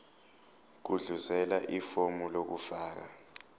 gudluzela ifomu lokufaka